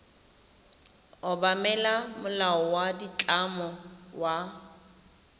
obamela molao wa ditlamo wa